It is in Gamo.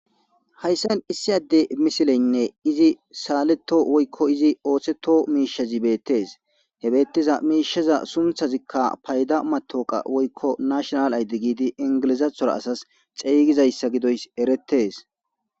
Hayssan issi adde misileynne izi saaleto woykko izi ooththeto miishazi beettees he beettiza miishaza sunthazikka payda matoqa woykko nashonal ayddi giidi ingilizathora asas xeygizayssa gidoys eretes.